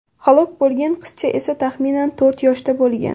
Halok bo‘lgan qizcha esa taxminan to‘rt yoshda bo‘lgan.